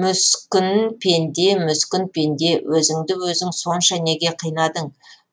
мүскін пенде мүскін пенде өзіңді өзің сонша неге қинадың